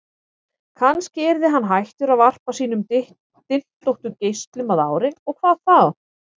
Kannski yrði hann hættur að varpa sínum dyntóttu geislum að ári, og hvað þá?